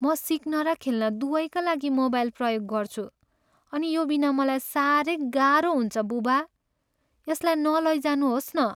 म सिक्न र खेल्न दुवैका लागि मोबाइल प्रयोग गर्छु अनि यो बिना मलाई साह्रै गाह्रो हुन्छ, बुबा। यसलाई नलैजानुहोस् न ।